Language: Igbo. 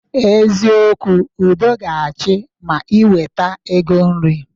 Eziokwu, udo ga-achị ma ị weta ego nri